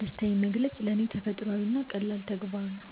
ደስታዬን መግለጽ ለኔ ተፈጥሯዊና ቀላል ተግባር ነው።